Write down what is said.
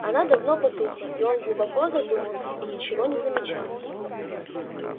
она давно потухла но он глубоко задумался и ничего не замечал